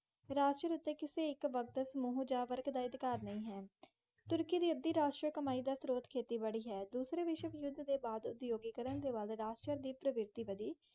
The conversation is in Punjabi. ਰਾਸ਼ਟਰ ਉੱਤੇ ਕਿਸੇ ਇੱਕ ਵਕਤ, ਸਮੂਹ ਜਾਂ ਵਰਗ ਦਾ ਅਧਿਕਾਰ ਨਹੀਂ ਹੈ। ਤੁਰਕੀ ਦੀ ਅੱਧੀ ਰਾਸ਼ਟਰੀ ਕਮਾਈ ਦਾ ਸਰੋਤ ਖੇਤੀਬਾੜੀ ਹੈ। ਦੂਸਰੇ ਵਿਸ਼ਵ ਯੁੱਧ ਦੇ ਬਾਅਦ ਉਦਯੋਗੀਕਰਣ ਦੇ ਵੱਲ ਰਾਸ਼ਟਰ ਦੀ ਪ੍ਰਵਿਰਤੀ ਵਧੀ।